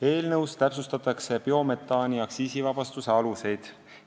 Eelnõus täpsustatakse biometaani aktsiisivabastuse aluseid.